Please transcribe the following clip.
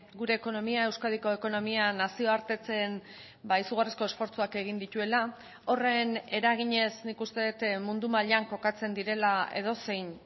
gure ekonomia euskadiko ekonomia nazioartetzen izugarriko esfortzuak egin dituela horren eraginez nik uste dut mundu mailan kokatzen direla edozein